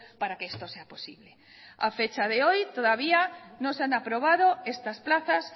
para que esto sea posible a fecha de hoy todavía no se han aprobado estas plazas